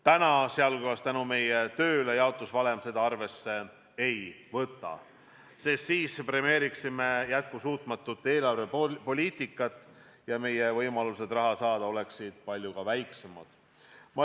Täna, sealhulgas tänu meie tööle, jaotusvalem seda asjaolu arvesse ei võta, sest sel juhul premeeriksime jätkusuutmatut eelarvepoliitikat ja ka meie võimalused raha saada oleksid palju väiksemad.